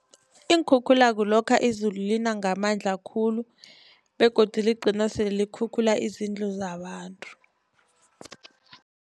Iinkhukhula kulokha izulu lina ngamandla khulu begodu ligcina sele likhukhula izindlu zabantu.